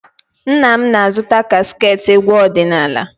Nna m na-azụta kaseetị egwu ọdịnaala.